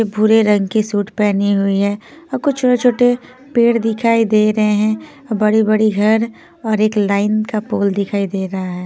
भूरे रंग की सूट पहनी हुई हैं और कुछ छोटे-छोटे पेड़ दिखाई दे रहे हैं और बड़ी-बड़ी घर और एक लाइन का पोल दिखाई दे रहा है।